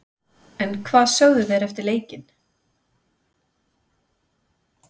En hvað sögðu þeir eftir leikinn?